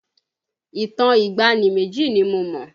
Ìtàn ìgbàanì méjì ni mo mọ̀